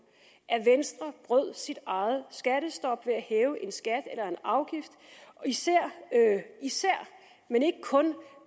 at venstre brød sit eget skattestop ved at hæve en skat eller en afgift især men ikke kun